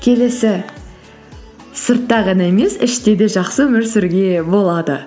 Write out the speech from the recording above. келесі сыртта ғана емес іште де жақсы өмір сүруге болады